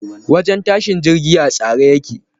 Wajen tashin jirgi a tsare yake.